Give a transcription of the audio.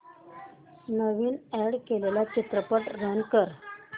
नवीन add केलेला चित्रपट run कर